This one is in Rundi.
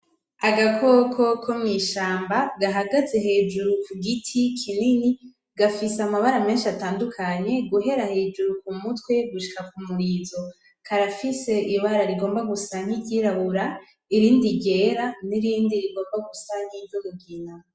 Agakoko ko mw'ishamba gahagaze hejuru ku giti kinini, gafise amabara menshi atandukanye guhera hejuru ku mutwe gushika ku murizo. Karafise ibara rigomba gusa nkiryirabura, irindi ryera n'irindi rigomba gusa nkiry'umugina.